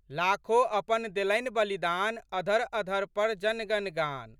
लाखो अपन देलनि बलिदान, अधरअधर पर जनगण गान।